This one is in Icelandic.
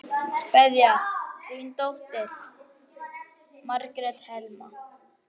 Kveðja, þín dóttir, Margrét Helma.